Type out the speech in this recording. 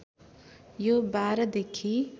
यो १२ देखि